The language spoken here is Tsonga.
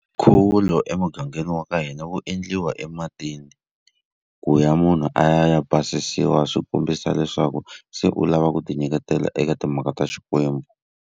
Nkhuvulo emugangeni wa ka hina wu endliwa ematini ku ya munhu a ya ya basisiwa swi kombisa leswaku se u lava ku tinyiketela eka timhaka ta Xikwembu.